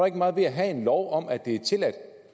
ikke meget ved at have en lov om at det er tilladt